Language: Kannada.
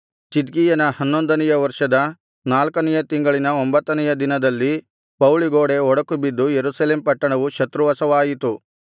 ಚಿದ್ಕೀಯನ ಹನ್ನೊಂದನೆಯ ವರ್ಷದ ನಾಲ್ಕನೆಯ ತಿಂಗಳಿನ ಒಂಭತ್ತನೆಯ ದಿನದಲ್ಲಿ ಪೌಳಿಗೋಡೆ ಒಡಕು ಬಿದ್ದು ಯೆರೂಸಲೇಮ್ ಪಟ್ಟಣವು ಶತ್ರುವಶವಾಯಿತು